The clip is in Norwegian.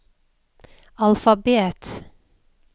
alfabet